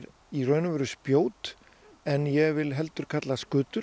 í raun og veru spjót en ég vil heldur kalla